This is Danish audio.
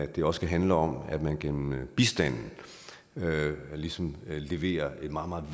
kan også handle om at man gennem bistanden ligesom leverer et meget